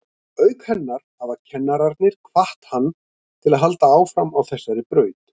Auk hennar hafa kennararnir hvatt hann til að halda áfram á þessari braut.